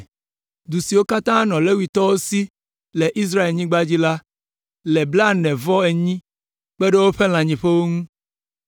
Du siwo katã nɔ Levitɔwo si le Israelnyigba dzi la, le blaene-vɔ-enyi kpe ɖe woƒe lãnyiƒewo ŋu.